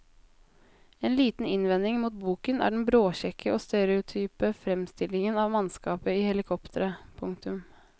En liten innvending mot boken er den bråkjekke og stereotype fremstillingen av mannskapet i helikopteret. punktum